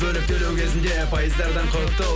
бөліп төлеу кезінде пайыздардан құтыл